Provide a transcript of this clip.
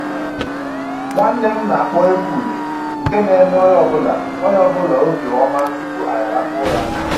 Nwanne m na-akpọ egwu ure nke na-eme onye ọbụla onye ọbụla obi ọma tupu anyị alakpuo ụra